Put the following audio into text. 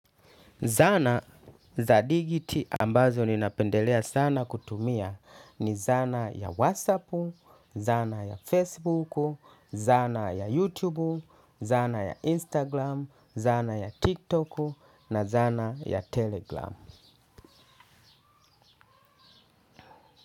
Zana za dijiti ambazo ninapendelea sana kutumia ni zana ya wassapu, zana ya facebuku, zana ya youtubu, zana ya Instagram, zana ya tiktoku na zana ya Telegram.